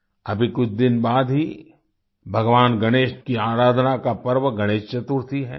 अभी कुछ दिन बाद ही भगवान गणेश की आराधना का पर्व गणेश चतुर्थी है